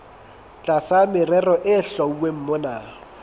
tlasa merero e hlwauweng mona